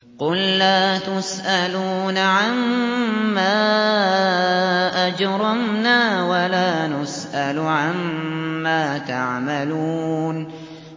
قُل لَّا تُسْأَلُونَ عَمَّا أَجْرَمْنَا وَلَا نُسْأَلُ عَمَّا تَعْمَلُونَ